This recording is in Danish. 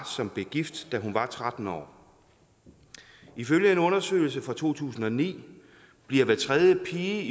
som blev gift da hun var tretten år ifølge en undersøgelse fra to tusind og ni bliver hver tredje pige